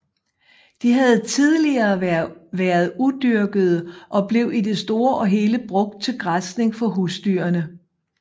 De havde tidligere været udyrkede og blev i det store og hele brugt til græsning for husdyrene